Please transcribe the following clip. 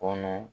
Kɔnɔ